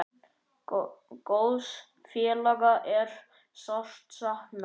Góðs félaga er sárt saknað.